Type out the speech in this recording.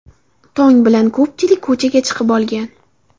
Tong bilan ko‘pchilik ko‘chaga chiqib olgan.